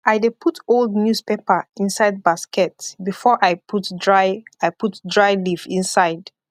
i dey put old newspaper inside basket before i put dry i put dry leaf inside